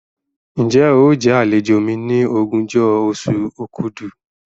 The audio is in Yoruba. Ǹjẹ́ óò jẹ àlejò mi ní ogúnjọ́ oṣù òkúdu?